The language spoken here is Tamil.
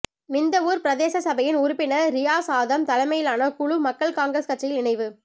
நிந்தவூர் பிரதேச சபையின் உறுப்பினர் றியாஸ் ஆதம் தலைமையிலான குழு மக்கள் காங்கிரஸ் கட்சியில் இணைவு